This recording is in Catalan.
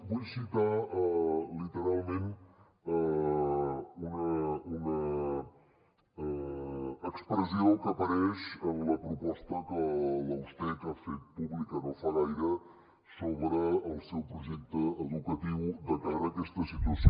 vull citar literalment una expressió que apareix en la proposta que la ustec ha fet pública no fa gaire sobre el seu projecte educatiu de cara a aquesta situació